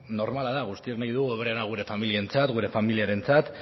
normala da guztiok nahi dugu hoberena gure familiarentzat